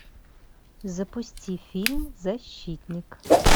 запусти фильм защитник